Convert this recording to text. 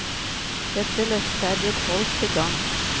Dette løftet er blitt holdt til gagns.